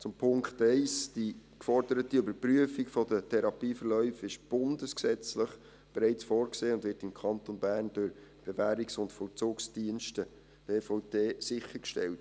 Zum Punkt 1: Die geforderte Überprüfung der Therapieverläufe ist bundesgesetzlich bereits vorgesehen und wird im Kanton Bern durch die BVD sichergestellt.